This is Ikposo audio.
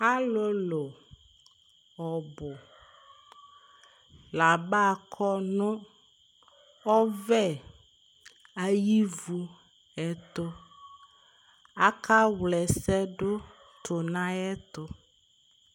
Ɔlʋlʋ ɔbʋ la abakɔ nʋ ɔvɛ ayʋ ivu ɛtʋ Akawla ɛsɛ dʋ tʋ nʋ ayɛtʋ